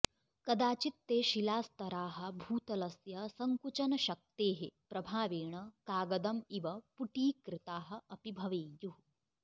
कदाचित् ते शिलास्तराः भूतलस्य सङ्कुचनशक्तेः प्रभावेण कागदम् इव पुटीकृताः अपि भवेयुः